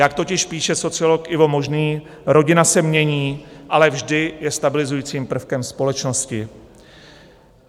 Jak totiž píše sociolog Ivo Možný, rodina se mění, ale vždy je stabilizujícím prvkem společnosti.